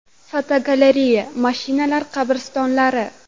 Fotogalereya: Mashinalar qabristonlari.